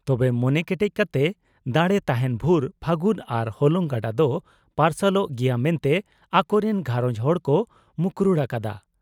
ᱛᱚᱵᱮ ᱢᱚᱱᱮ ᱠᱮᱴᱮᱡ ᱠᱟᱴᱮ ᱫᱟᱲᱮ ᱛᱟᱦᱮᱸᱱ ᱵᱷᱩᱨ ᱯᱷᱟᱹᱜᱩᱱ ᱟᱨ ᱦᱚᱞᱚᱝ ᱜᱟᱰᱟ ᱫᱚ ᱯᱟᱨᱥᱟᱞᱚᱜ ᱜᱮᱭᱟ ᱢᱮᱱᱛᱮ ᱟᱠᱚ ᱨᱤᱱ ᱜᱷᱟᱨᱚᱸᱡᱽ ᱦᱚᱲ ᱠᱚ ᱢᱩᱠᱨᱩᱲ ᱟᱠᱟᱫᱼᱟ ᱾